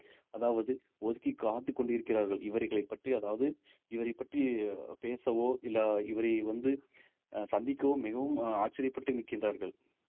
அதாவது ஒதுக்கி காத்துக் கொண்டிருக்கிறார்கள் இவர்களைப் பற்றி அதாவது இவரைப் பற்றி பேசவோ இல்லை இவரை வந்து அஹ் சந்திக்கவும் மிகவும் அஹ் ஆச்சரியப்பட்டு நிற்கின்றார்கள்